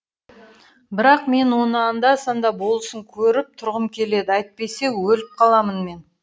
бірақ мен оны анда санда болсын көріп тұрғым келеді әйтпесе өліп қаламын мен